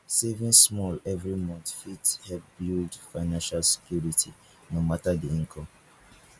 saving small every month fit help build financial security no matter di income